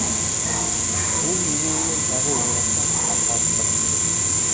ол өз ойымен тағы оңаша арпалысқа түсті